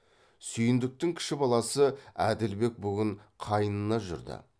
сүйіндіктің кіші баласы әділбек бүгін қайнына жүрді